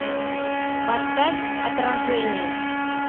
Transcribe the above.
поставь отражение